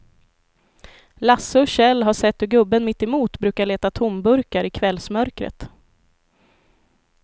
Lasse och Kjell har sett hur gubben mittemot brukar leta tomburkar i kvällsmörkret.